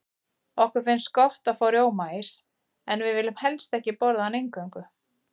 Okkur finnst gott að fá rjómaís, en viljum helst ekki borða hann eingöngu.